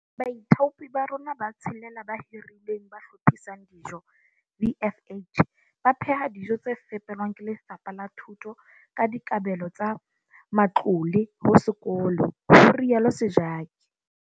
Baithaupi ba rona ba tshelela ba hiruweng ba hlophisang dijo VFH ba pheha dijo tse fepelwang ke Lefapha la Thuto ka dikabelo tsa matlole ho sekolo, ho rialo Sejake.